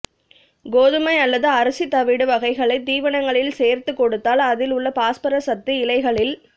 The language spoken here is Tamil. கோதுமை அல்லது அரிசி தவிடு வகைகளை தீவனங்களில் சேர்த்து கொடுத்தால் அதில் உள்ள பாஸ்பரஸ் சத்து இலைகளில்